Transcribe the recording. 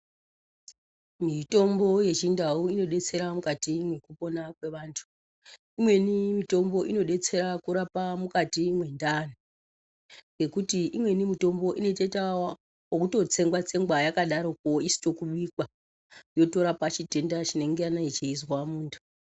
Mitombo yechindau inobetsera mukati mekupona kwevandu . Imweni mitombo inobatsira kurapa mukati mendaro nekuti imweni mitombo inotoite yekutotsengwa - tsengwa yakadaro , isina kubikwa yotorapa chitenda chinenge chichizwa mundu.